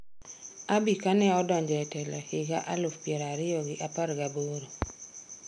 Abiy kaneodonjo e telo higa alauf piero ariyo gi apar gaboro.